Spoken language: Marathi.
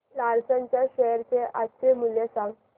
लार्सन च्या शेअर चे आजचे मूल्य सांगा